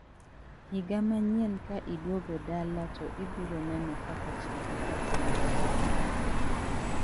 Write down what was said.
Higa manyien ka iduogo dala to ibiro neno kaka chadi okelo lokruok.